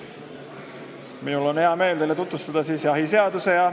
Minul on hea meel tutvustada teile jahiseaduse ja ...